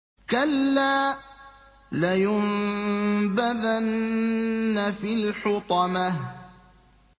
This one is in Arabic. كَلَّا ۖ لَيُنبَذَنَّ فِي الْحُطَمَةِ